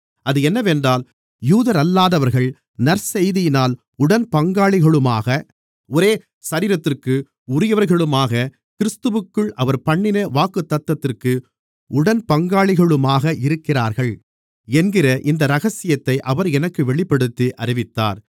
அது என்னவென்றால் யூதரல்லாதவர்கள் நற்செய்தியினால் உடன்பங்காளிகளுமாக ஒரே சரீரத்திற்கு உரியவர்களுமாக கிறிஸ்துவிற்குள் அவர்பண்ணின வாக்குத்தத்தத்திற்கு உடன்பங்காளிகளுமாக இருக்கிறார்கள் என்கிற இந்த இரகசியத்தை அவர் எனக்கு வெளிப்படுத்தி அறிவித்தார்